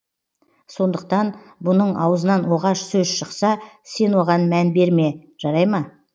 сондықтан бұның аузынан оғаш сөз шықса сен оған мән берме жарай ма